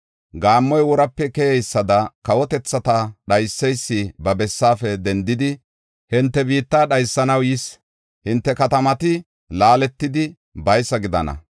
Gaammoy worape keyeysada kawotethata dhayseysi ba bessaafe dendidi hinte biitta dhaysanaw yis. Hinte katamati laaletidi baysa gidana.